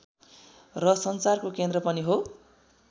र सञ्चारको केन्द्र पनि हो